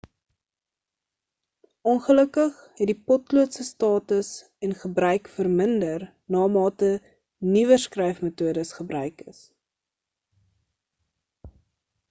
ongelukkig het die potlood se status en gebruik verminder namate nuwer skryfmetodes gebruik is